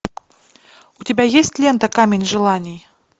у тебя есть лента камень желаний